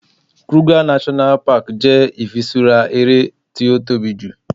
Kruger National Park jẹ ifisura eré ti o tóbi ju